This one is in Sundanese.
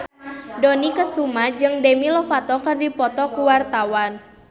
Dony Kesuma jeung Demi Lovato keur dipoto ku wartawan